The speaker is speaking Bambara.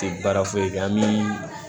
Tɛ baara foyi kɛ an bɛ